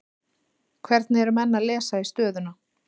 Hvernig eru menn að lesa í stöðuna?